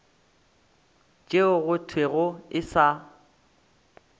tšeo go thwego e sa